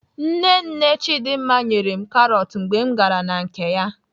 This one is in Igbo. Nne nne Chidimma nyere m karọt mgbe m gara na nke ya.